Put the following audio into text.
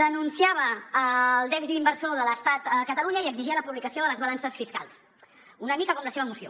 denunciava el dèficit inversor de l’estat a catalunya i exigia la publicació de les balances fiscals una mica com la seva moció